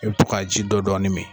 I bi to ka ka ji dɔ dɔɔnin min.